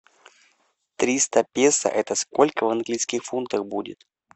триста песо это сколько в английских фунтах будет